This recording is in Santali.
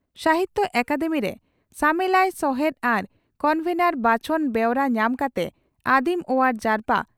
ᱥᱟᱦᱤᱛᱭᱚ ᱟᱠᱟᱫᱮᱢᱤᱨᱮ ᱥᱟᱢᱮᱞᱟᱭ ᱥᱚᱦᱮᱛ ᱟᱨ ᱠᱚᱱᱵᱷᱮᱱᱚᱨ ᱵᱟᱪᱷᱚᱱ ᱵᱮᱣᱨᱟ ᱧᱟᱢ ᱠᱟᱛᱮ ᱟᱹᱫᱤᱢ ᱚᱣᱟᱨ ᱡᱟᱨᱯᱟ